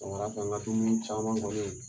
Sɔgɔmada fɛ nka dumuni caman kɔɔni